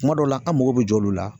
Kuma dɔw la an mago bi jɔ olu la